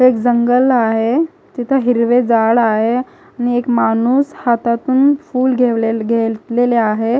एक जंगल आहे तिथे हिरवे जाळ आहे आणि एक माणूस हातातून फूल घेवलेले घेतलेले आहे.